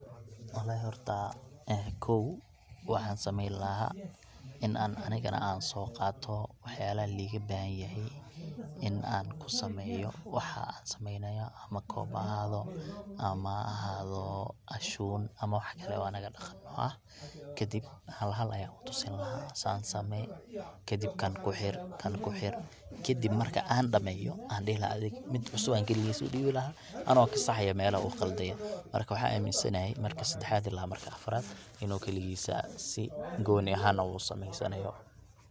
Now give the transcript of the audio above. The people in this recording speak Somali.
Walahi horta kow waxaan sameen lahaa in aan anigana aan soo qaato wax yaabaha liiga bahan yahay, in aan kusameeyo waxa aan sameeynayo, ama koob ha ahaado, ama ha ahaado ashuun ama wax kale oo anaga daqan noo ah, kadib hal hal ayaan utusin lahaa, saan sameey, kadib kan kuxir, kan kuxir, kadib marki aan dameeyo, adhi mid cusub ayaan kaligiis udiibi lahaa anoo kasaxaayo meelaha uu Qalde, waxaan aamin sanahay marki sadexaad ama marki afaraad inuu kaligiisa si gooni ahaan usameen sanayo.